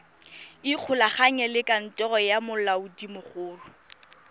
ikgolaganye le kantoro ya molaodimogolo